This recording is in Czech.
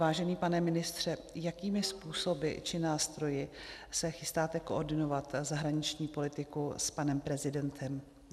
Vážený pane ministře, jakými způsoby či nástroji se chystáte koordinovat zahraniční politiku s panem prezidentem?